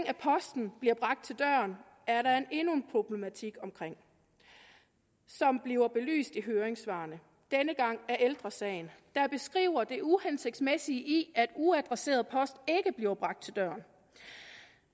at posten bliver bragt til døren er der endnu en problematik omkring som bliver belyst i høringssvarene denne gang af ældre sagen der beskriver det uhensigtsmæssige i at uadresseret post ikke bliver bragt til døren